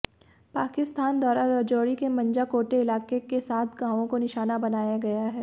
पाकिस्तान द्वारा राजौरी के मंजाकोटे इलाके के सात गांवों को निशाना बनाया गया है